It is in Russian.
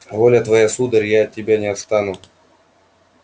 воля твоя сударь я от тебя не отстану